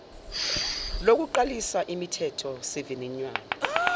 lokuqalisa umithetho sivivinywa